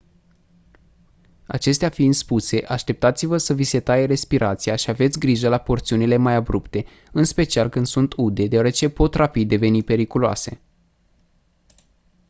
acestea fiind spuse așteptați-vă să vi se taie respirația și aveți grijă la porțiunile mai abrupte în special când sunt ude deoarece pot rapid deveni periculoase